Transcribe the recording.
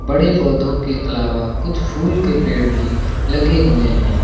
बड़े पौधों के अलावा कुछ फूल के पेड़ भी लगे हुए हैं।